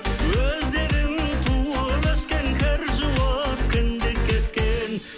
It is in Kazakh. өздерің туып өскен кір жуып кіндік кескен